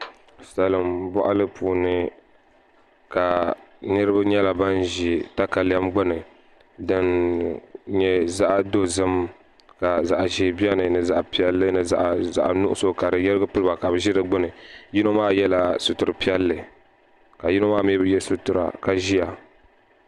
Salinboɣali puuni ka niriba nyɛla ban zi takalem gbini din nye zaɣa dozim ka zaɣ' ʒee beni ni zaɣa pelli ni zaɣ' nuɣiso kadi yirgi pilba kabi zi di gbinni yino maa yela sitira pelli ka yino maa mɛi bi ye sitira ka ziya.